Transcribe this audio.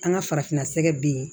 An ka farafinna sɛgɛ be yen